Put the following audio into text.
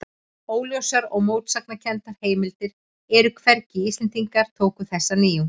Óljósar og mótsagnakenndar heimildir eru um hvernig Íslendingar tóku þessari nýjung.